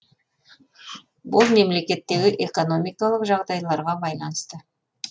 ол мемлекеттегі экономикалық жағдайларға байланысты